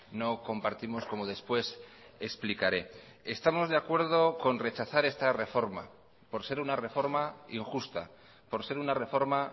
no compartimos como después explicaré estamos de acuerdo con rechazar esta reforma por ser una reforma injusta por ser una reforma